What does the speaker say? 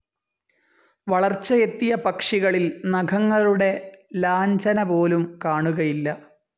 വളർച്ചയെത്തിയ പക്ഷികളിൽ നഖങ്ങളുടെ ലാഞ്ഛനപോലും കാണുകയില്ല.